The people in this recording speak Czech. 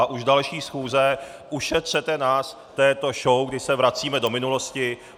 A u další schůze ušetřete nás této show, kdy se vracíme do minulosti.